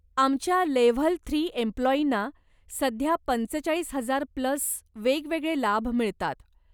आमच्या level three एम्प्लाॅईना सध्या पंचेचाळीस हजार प्लस वेगवेगळे लाभ मिळतात.